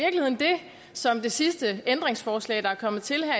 som det sidste ændringsforslag der er kommet til her